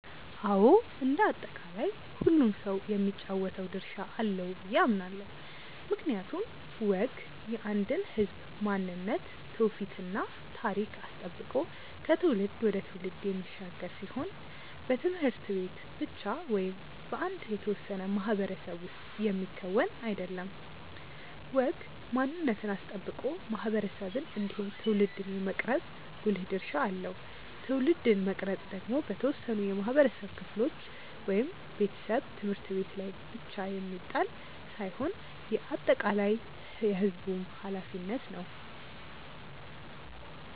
አዎ እንደ አጠቃላይ ሁሉም ሰው የሚጫወተው ድርሻ አለው ብዬ አምናለው። ምክንያቱም ወግ የአንድን ህዝብ ማንነት ትውፊት እና ታሪክ አስጠብቆ ከትውልድ ወደ ትውልድ የሚሻገር ሲሆን በት/ቤት ብቻ ወይም በአንድ የተወሰነ ማህበረሰብ ውስጥ የሚከወን አይደለም። ወግ ማንነትን አስጠብቆ ማህበረሰብን እንዲሁም ትውልድን የመቅረጽ ጉልህ ድርሻ አለው። ትውልድን መቅረጽ ደግሞ በተወሰኑ የማህበረሰብ ክፍሎች (ቤተሰብ፣ ት/ቤት) ላይ ብቻ የሚጣል ሳይሆን የአጠቃላይ የህዝቡም ኃላፊነት ነው።